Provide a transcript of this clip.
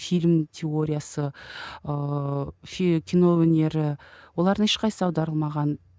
фильм теориясы ыыы кино өнері олардың ешқайсысы аударылмаған